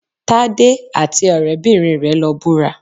Tádé àti ọ̀rẹ́-bìnrin rẹ̀ lọ búra